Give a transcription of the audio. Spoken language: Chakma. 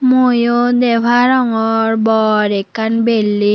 muiyo de parongor bor ekkan belding.